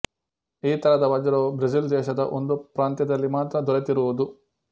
ಈ ತರದ ವಜ್ರವು ಬ್ರೆಜಿಲ್ ದೇಶದ ಒಂದು ಪ್ರಾಂತ್ಯದಲ್ಲಿ ಮಾತ್ರ ದೊರೆತಿರುವುದು